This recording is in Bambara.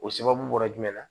O sababu bɔra jumɛn na